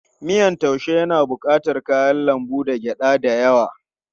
Miyan taaushe yana bukatar kayan lambu da gyada da yawa.